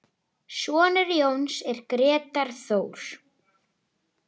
Sonur Jóns er Grétar Þór.